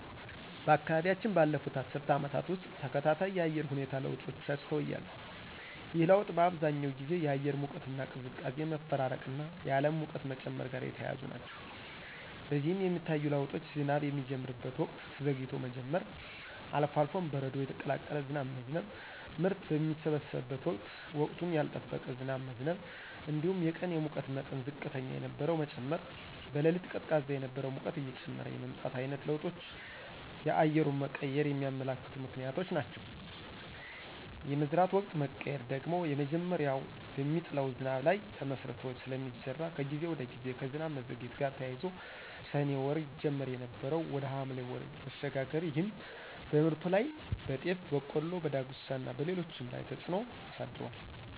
በአካባቢያችን ባለፉት አስርት ዓመታት ውስጥ ተከታታይ የአየር ሁኔታ ለውጦችን አስተውያለሁ። ይህ ለውጥ በአብዛኛው ጊዜ የአየር ሙቀትና ቅዝቃዜ መፈራረቅና የዓለም ሙቀት መጨመር ጋር የተያያዙ ናቸው። በዚህም የሚታዩ ለውጦች ዝናብ የሚጀምርበት ወቅት ዘግይቶ መጀመር፣ አልፎ አልፎም በረዶ የቀላቀለ ዝናብ መዝነብ፣ ምርት በሚሰበሰብበት ወቅት ወቅቱን ያልጠበቀ ዝናብ መዝነብ እንዲሁም የቀን የሙቀት መጠን ዝቅተኛ የነበረው መጨመር፣ በሌሊት ቀዝቃዛ የነበረው ሙቀት እየጨመረ የመምጣት ዓይነት ለውጦች የአየሩን መቀየር የሚያመለክቱ ምክንያቶች ናቸው። የመዝራት ወቅት መቀየር ደግሞ መጀመሪያ በሚጥለው ዝናብ ላይ ተመስርቶ ስለሚዘራ ከጊዜ ወደ ጊዜ ከዝናብ መዘግየት ጋር ተያይዞ ሰኔ ወር ይጀመር የነበረው ወደ ሐምሌ ወር መሸጋገር ይህም በምርቱ ላይ (በጤፍ፣ በቆሎ፣ በዳጉሳና በሌሎችም) ላይ ተፅዕኖ አሳድሯል።